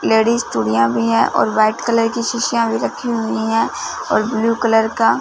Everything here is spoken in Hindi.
लेडिस चूड़ियां भी हैं और व्हाइट कलर की शीशियां भी रखी हुईं हैं और ब्ल्यू कलर का--